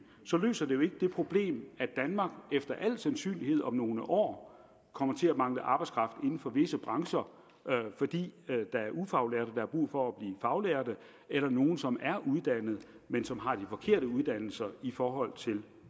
løser det jo ikke det problem at danmark efter al sandsynlighed om nogle år kommer til at mangle arbejdskraft inden for visse brancher fordi der er ufaglærte der har brug for at blive faglærte eller nogle som er uddannede men som har de forkerte uddannelser i forhold til